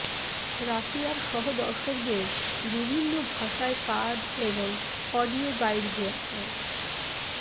রাশিয়ার সহ দর্শকদের বিভিন্ন ভাষায় কার্ড এবং অডিও গাইড দেওয়া হয়